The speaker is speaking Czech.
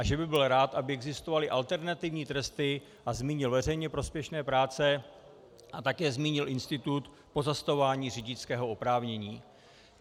A že by byl rád, aby existovaly alternativní tresty, a zmínil veřejně prospěšné práce a také zmínil institut pozastavování řidičského oprávnění.